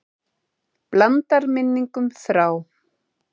Blandar minningum þrá.